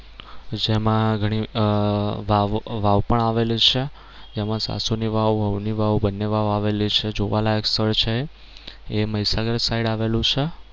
જેમાં ઘણી આહ વાવો વાવ પણ આવેલી છે જેમાં સાસુ ની વાવ વહુ ની વાવ બંને વાવ આવેલી છે જોવાલાયક સ્થળ છે એ મહીસાગર સાઇડ આવેલું છે.